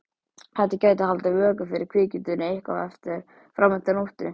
Þetta gæti haldið vöku fyrir kvikindinu eitthvað fram eftir nóttu.